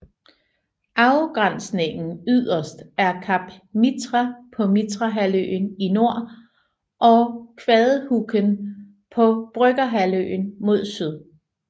Afgrænsningen yderst er Kapp Mitra på Mitrahalvøen i nord og Kvadehuken på Brøggerhalvøen mod syd